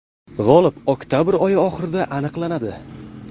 G‘olib oktabr oyi oxirida aniqlanadi.